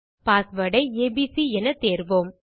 password ஐ A B C என தேர்வோம்